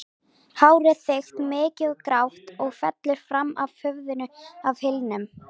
Hárið þykkt, mikið og grátt og fellur fram af höfðinu að hylnum.